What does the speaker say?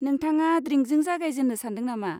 नोंथाङा द्रिंकजों जागायजेन्नो सान्दों नामा?